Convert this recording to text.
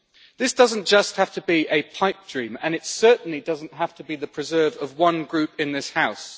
This doesn't just have to be a pipe dream, and it certainly doesn't have to be the preserve of one group in this House.